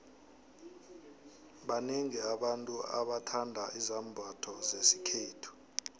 baxiengi abantu abathanda izambotho zesikhethu